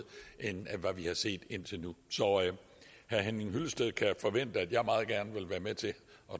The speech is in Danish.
end hvad vi har set indtil nu så herre henning hyllested kan forvente at jeg meget gerne vil være med til at